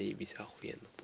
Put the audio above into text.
заебись ахуенно по